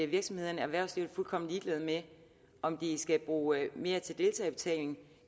virksomhederne erhvervslivet er fuldkommen ligeglad med om de skal bruge mere til deltagerbetaling